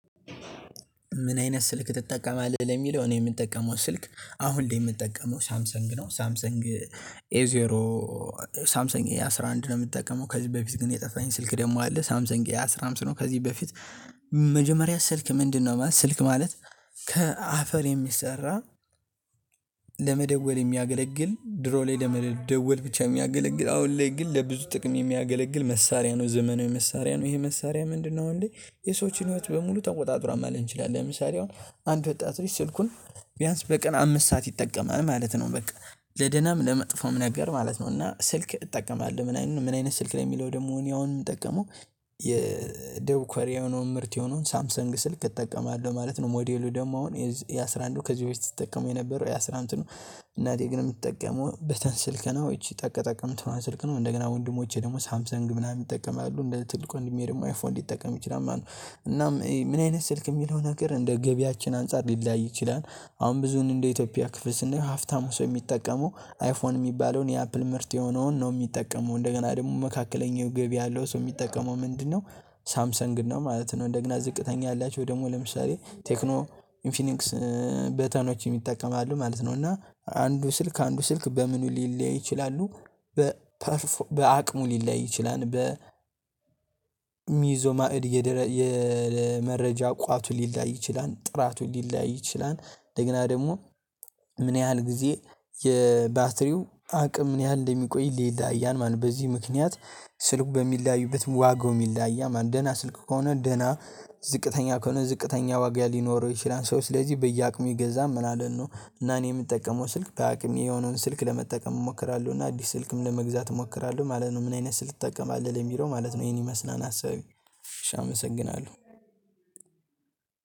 ምን አይነት ስልክ ትጠቀማለህ? ለሚለው እኔ የምጠቀመው ስልክ አሁን የምጠቀመው ሳምሰንግ ነው። ሳምሰንግ ኤ ዜሮ ሳምሰን ኤ አስራ አንድ ነው። የምትጠቀመው ከዚህ በፊት ግን የጠፋኝ ስልክ ደግሞ አለ። ሳምሰን ኤ አስራ አምስት ነው። ከዚህ በፊት መጀመሪያ ስልክ ምንድነው? ማለት ስልክ ማለት ከአፈር የሚሰራ። ለመደወል የሚያገለግል ድሮ ላይ ለመደወል ብቻ የሚያገለግል አሁን ላይ ግን ለብዙ ጥቅም የሚያገለግል መሳሪያ ነው። ዘመናዊ መሳሪያ ነው። ይሄ መሳሪያ ምንድነው? አሁን ላይ የሰዎችን ህይወት በሙሉ ተቆጣጥሯ ማለት እንችላለን። ለምሳሌ አሁን አንድ ወጣት ልጅ ስልኩን ቢያንስ በቀን አምስት ሰዓት ይጠቀማል ማለት ነው። በቃ ለደናም ለመጥፎም ነገር ማለት ነው። እና ስልክ እጠቀማለሁ ምን አይነት ስልክ ላይ የሚለው? ደግሞ እኔ አሁን የምጠቀመው የደቡብ ኮሪያ የሆነው ምርት የሆነውን ሳምሰንግ ስልክ እጠቀማለሁ ማለት ነው። ሞዴሉ ደግሞ አሁን የአሥራ አንድንዱ ከዚህ በፊት ስጠቀሙ የነበረው የአስራ አንዱን ነው። እናቴ ግን የምትጠቀመው በተን ስልክ ነው። እቺ ጠቅጠቅ ምትለዋን ስልክ ነው። እንደገና ወንድሞቼ ደግሞ ሳምሰንግ ምናምን ይጠቀማሉ እንደ ትልቁ ወንድሜ ደግሞ አይፎን ሊጠቀም ይችላል ማለት ነው። እናም ምን አይነት ስልክ የሚለው? ነገር እንደ ገቢያችን አንፃር ሊላይ ይችላል። አሁን ብዙን እንደ ኢትዮጵያ ክፍል ስንየው ሀብታሙ ሰው የሚጠቀመው አይፎን የሚባለውን የአፕል ምርት የሆነውን ነው። የሚጠቀመው እንደገና ደግሞ መካከለኛው ገቢ ያለው ሰው የሚጠቀመው ምንድነው? ሳምሰንግን ነው ማለት ነው። እንደግና ዝቅተኛ ያላቸው ደግሞ ለምሳሌ ቴክኖ ኢንፊኒክስ በተኖች የሚጠቀሙ አሉ ማለት ነው። እና አንዱ ስልክ ከአንዱ ስልክ በምን ሊለያይ ይችላሉ። በአቅሙ ሊለያይ ይችላል በ ሚይዘው ማዕድ የመረጃ ቋቱ ሊለያይ ይችላል። ጥራቱ ሊለያይ ይችላል። እንደገና ደግሞ ምን ያህል ጊዜ የባትሪው አቅም ምን ያህል እንደሚቆይ ይለያያል ማለት ነው። በዚህ ምክንያት ስልኩ በሚለያዩበት ዋጋውም ይለያያል ማለት ነው። ደህና ስልክ ከሆነ ደህና ዝቅተኛ ከሆነ ዝቅተኛ ዋጋ ሊኖረው ይችላል። ሰው ስለዚህ በየአቅሙ ይገዛል ማለት ነው። እና እኔ የምጠቀመው ስልክ በአቅሜ የሆነውን ስልክ ለመጠቀም እሞክራለሁ። እና አዲስ ስልክም ለመግዛት እሞክራለሁ ማለት ነው። ምን አይነት ስልክ ትጠቀማለህ? ለሚለው ማለት ነው ይሄን ይመስላል ሀሳቤ። እሺ አመሰግናለሁ።